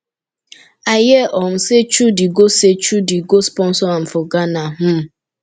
i hear um say chudi go say chudi go sponsor am for ghana um